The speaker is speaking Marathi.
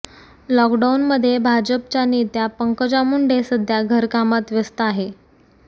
लॉकडाऊनमध्ये भाजपच्या नेत्या पंकजा मुंडे सध्या घरकामात व्यस्त आहे